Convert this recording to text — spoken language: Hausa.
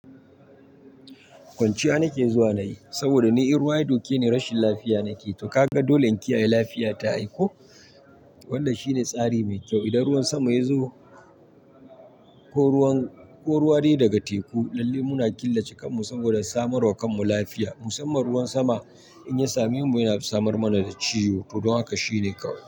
Kwanciya nake zuwa nayi saboda ni in ruwa ya doke ni rashin lafiya nake to ka ga dole in kiyaye lafiya ta aiko wannan shine tsari mai kyau. Idan ruwan sama ya zo ko ruwa dai daga teku lalle muna killace kanmu saboda samarwa kanmu lafiya musamman ruwan sama in ya sami mu yana samar mana da ciyo, to don haka shine kawai.